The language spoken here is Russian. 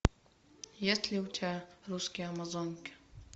есть ли у тебя русские амазонки